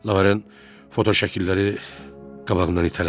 Laurent fotoşəkilləri qabağından itələdi.